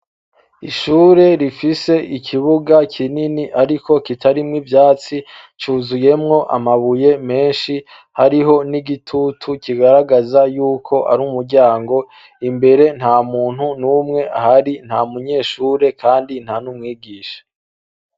Ishure rifise ikibuga kinini, ariko kitarimwo ivyatsi cuzuyemwo amabuye menshi hariho n'igitutu kigaragaza yuko ari umuryango imbere nta muntu n'umwe hari nta munyeshure, kandi nta n'umwigisha.